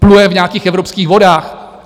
Pluje v nějakých evropských vodách.